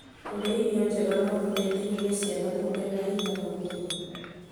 Kũrĩa irio njega no gũteithie ciana kuongerera hinya wa mwĩrĩ